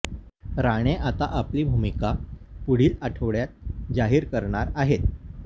राणे आता आपली भूमिका पुढील आठवड्यात जाहीर करणार आहेत